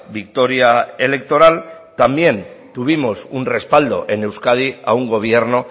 victoria electoral también tuvimos un respaldo en euskadi a un gobierno